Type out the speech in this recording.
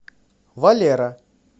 валера